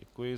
Děkuji.